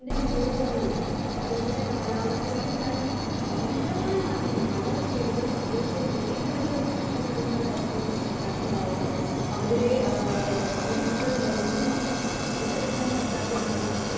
Speaker 2 മികവ് കുറവും അതേ പോലെ കാലാവസ്ഥയിലുണ്ടായ ഭയങ്കരമായ മാറ്റങ്ങൾ പല ചെടികൾ അതേ പോലെ വീട് വരെ നഷ്ടപ്പെട്ടിരുന്ന ഒരു അവസ്ഥയാണ് കൃഷിക്കാർക്കുണ്ടായത്. അവരുടെ ഏഹ് അവര് എടുത്ത ലോണുകൾ മൊത്തം ഏഹ് തിരിച്ചടക്കാൻ പറ്റാതെ ദാരിദ്ര്യത്തിലേക്ക്